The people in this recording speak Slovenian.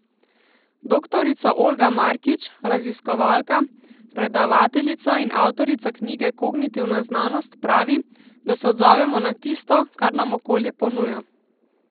Doktorica Olga Markič, raziskovalka, predavateljica in avtorica knjige Kognitivna znanost, pravi, da se odzovemo na tisto, kar nam okolje ponuja.